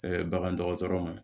bagan dɔgɔtɔrɔ ma